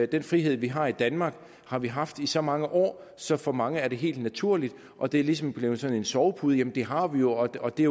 den frihed vi har i danmark har vi haft i så mange år så for mange er den helt naturlig og det er ligesom blevet sådan en sovepude jamen den har vi jo og det